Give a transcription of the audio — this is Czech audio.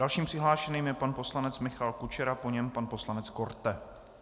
Dalším přihlášeným je pan poslanec Michal Kučera, po něm pan poslanec Korte.